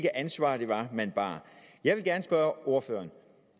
ansvar man bar jeg vil gerne spørge ordføreren